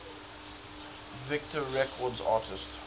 victor records artists